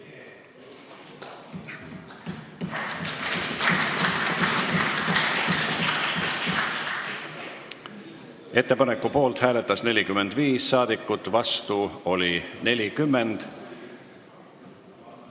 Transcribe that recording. Hääletustulemused Ettepaneku poolt hääletas 45 rahvasaadikut, vastu oli 40.